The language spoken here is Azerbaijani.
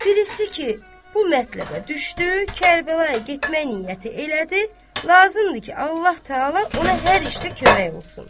Birisi ki, bu mətləbə düşdü, Kərbəlayı getmək niyyəti elədi, lazımdır ki, Allah Təala ona hər işdə kömək olsun.